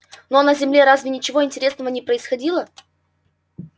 ну а на земле разве ничего интересного не происходило